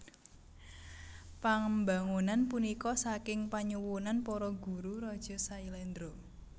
Pambangunan punika saking panyuwunan para guru raja Sailendra